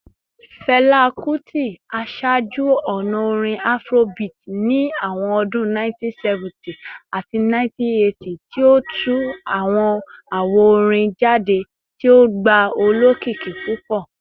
Fẹla Kuti ṣe aṣaaju-ọna orin Afrobeat ni awọn ọdun 1970 ati 1980, ti o tu awọn awo-orin jade ti o gba olokiki pupọ.